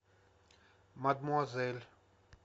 мадмуазель